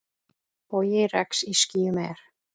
Bogi regns í skýjum er.